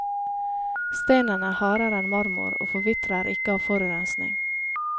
Stenen er hardere enn marmor og forvitrer ikke av forurensning.